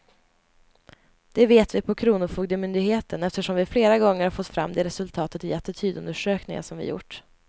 Det vet vi på kronofogdemyndigheten, eftersom vi flera gånger har fått fram det resultatet i attitydundersökningar som vi gjort.